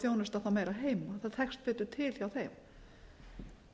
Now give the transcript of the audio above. þjónusta þá meira heima það tekst betur til hjá þeim